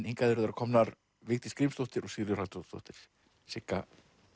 hingað eru þær komnar Vigdís Grímsdóttir og Sigríður Halldórsdóttir Sigga